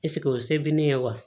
Eseke o se bɛ ne ye wa